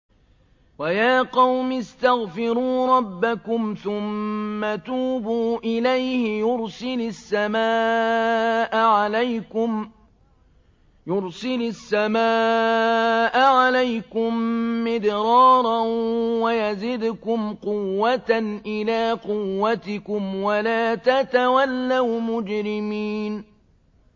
وَيَا قَوْمِ اسْتَغْفِرُوا رَبَّكُمْ ثُمَّ تُوبُوا إِلَيْهِ يُرْسِلِ السَّمَاءَ عَلَيْكُم مِّدْرَارًا وَيَزِدْكُمْ قُوَّةً إِلَىٰ قُوَّتِكُمْ وَلَا تَتَوَلَّوْا مُجْرِمِينَ